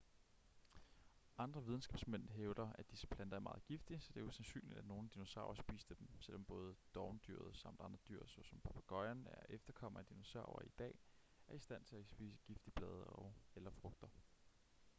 andre videnskabsmænd hævder at disse planter er meget giftige så det er usandsynligt at nogle dinosaurer spiste dem selvom både dovendyret samt andre dyr såsom papegøjen en efterkommer af dinosaurer i dag er i stand til at spise giftige blade og/eller frugter